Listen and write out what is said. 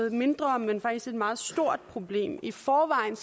et mindre men faktisk et meget stort problem i forvejen